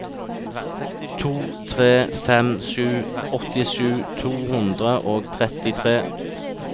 to tre fem sju åttisju to hundre og trettitre